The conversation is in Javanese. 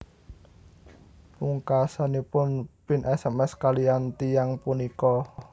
Pungkasanipun Pin sms kaliyan tiyang punika